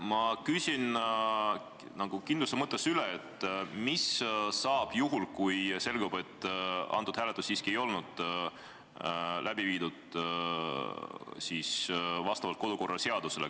Ma küsin nagu kindluse mõttes üle, et mis saab juhul, kui selgub, et see hääletus siiski ei olnud läbi viidud vastavalt kodukorraseadusele.